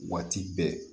Waati bɛɛ